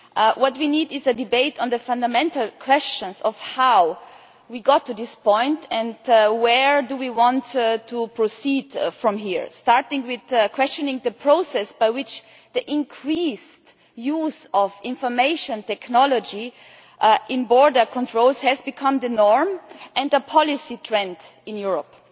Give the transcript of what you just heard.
What we need is a debate on the fundamental questions of how we got to this point and where we want to go from here. We should start by questioning the process by which the increased use of information technology in border controls has become the norm and the policy trend in Europe.